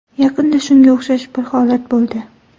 Yaqinda shunga o‘xshash bir holat bo‘ldi.